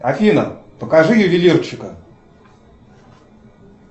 афина покажи ювелирчика